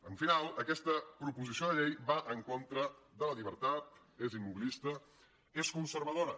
al final aquesta proposició de llei va en contra de la llibertat és immobilista és conservadora